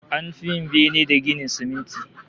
An fi yin bene da ginin siminti